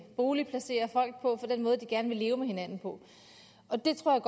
boligplacere folk på og for den måde de gerne vil leve med hinanden på og det tror